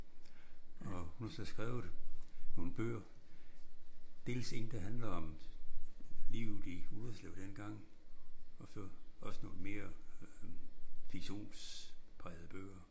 Og hun har så skrevet nogle bøger. Dels en der handler om livet i Ullerslev dengang og også nogle mere fiktionsprægede bøger